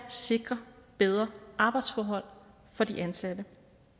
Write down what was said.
sikre bedre arbejdsforhold for de ansatte